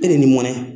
E ni mɔnɛ